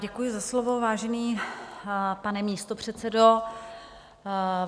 Děkuji za slovo, vážený pane místopředsedo.